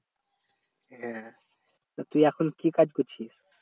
হ্যাঁ তা তুই এখন কি কাজ করছিস?